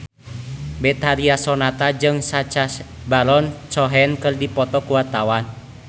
Betharia Sonata jeung Sacha Baron Cohen keur dipoto ku wartawan